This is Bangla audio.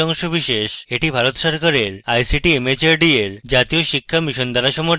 এটি ভারত সরকারের ict mhrd এর জাতীয় শিক্ষা mission দ্বারা সমর্থিত